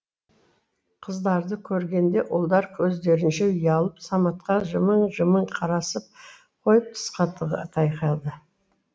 қыздарды көргенде ұлдар өздерінше ұялып саматқа жымың жымың қарасып қойып тысқа тайқалды